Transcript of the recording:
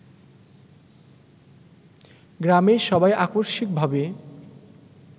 গ্রামের সবাই আকস্মিকভাবে